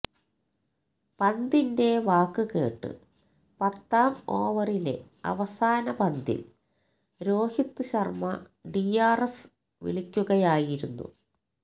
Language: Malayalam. പന്തിന്റെ വാക്കുകേട്ട് പത്താം ഓവറിലെ അവസാന പന്തില് രോഹിത് ശര്മ്മ ഡിആര്എസ് വിളിക്കുകയായിരുന്നു